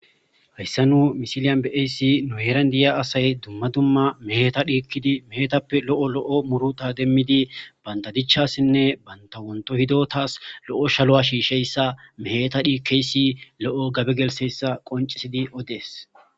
hayssa nu misiliyan beayssi nu heran diya asay dumma dumma meta dhikkidi meetappe lo7o lo7o muruta demmidi bandadichasinne bantawonto hido taas lo7o shalo7a shiisheyssa meeta dhikeysi lo7o gabe gelseyssa qoncisidi odees